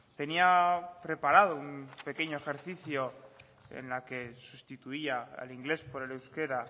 tenía preparado un pequeño ejercicio en el que sustituía al inglés por el euskera